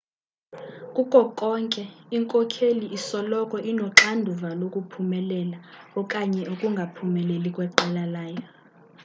kuko konke inkokheli isoloko inoxanduva lokuphumelela okanye ukungaphumeleli kweqela layo